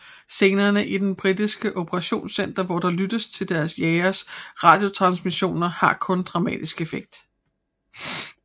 Scenerne i det britiske operationscenter hvor der lyttes til deres jageres radiotransmissioner har kun dramatisk effekt